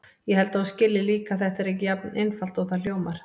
Ég held að þú skiljir líka að þetta er ekki jafn einfalt og það hljómar.